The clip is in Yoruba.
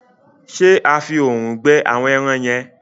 ṣe a fí òòrùn gbẹ àwọn èràn yen?